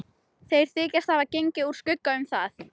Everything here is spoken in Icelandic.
Þeir þykjast hafa gengið úr skugga um það.